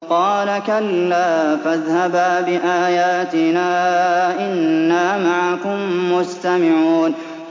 قَالَ كَلَّا ۖ فَاذْهَبَا بِآيَاتِنَا ۖ إِنَّا مَعَكُم مُّسْتَمِعُونَ